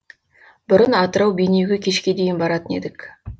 бұрын атырау бейнеуге кешке дейін баратын едік